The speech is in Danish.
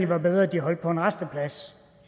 var bedre at de holdt på en rasteplads